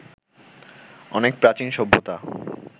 অনেক প্রাচীন সভ্যতা